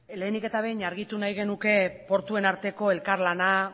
lehenik eta behin argitu nahi genuke portuen arteko elkarlana